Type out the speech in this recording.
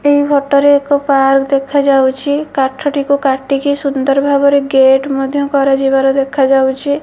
ଏହି ଫଟୋ ରେ ଏକ ପାର୍କ ଦେଖାଯାଉଛି କାଠ ଟିକୁ କାଟିକି ସୁନ୍ଦର ଭାବରେ ଗେଟ୍ ମଧ୍ୟ କରାଯିବାର ଦେଖା ଯାଉଛି।